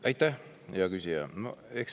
Aitäh, hea küsija!